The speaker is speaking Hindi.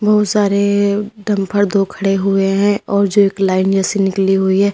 बहोत सारे डंपर दो खड़े हुए हैं और जो एक लाइन जैसे निकली हुई है।